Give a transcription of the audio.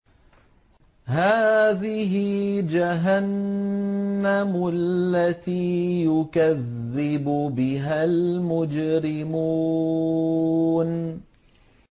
هَٰذِهِ جَهَنَّمُ الَّتِي يُكَذِّبُ بِهَا الْمُجْرِمُونَ